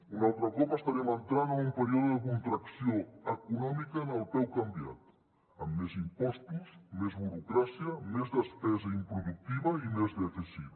un altre cop estarem entrant en un període de contracció econòmica amb el peu canviat amb més impostos més burocràcia més despesa improductiva i més dèficit